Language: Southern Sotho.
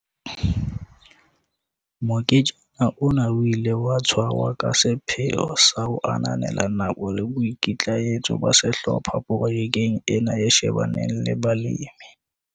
Moketjana ona o ile wa tshwarwa ka sepheo sa ho ananela nako le boikitlaetso ba sehlopha projekeng ena e shebaneng le balemi.